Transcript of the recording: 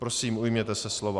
Prosím, ujměte se slova.